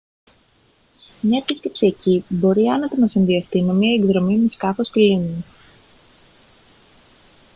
μια επίσκεψη εκεί μπορεί άνετα να συνδυαστεί με μια εκδρομή με σκάφος στη λίμνη